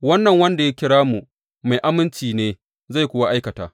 Wannan wanda ya kira ku mai aminci ne zai kuwa aikata.